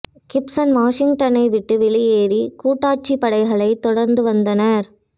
Gibson வாஷிங்டனை விட்டு வெளியேறி கூட்டாட்சிப் படைகளைத் தொடர்ந்து வந்தனர்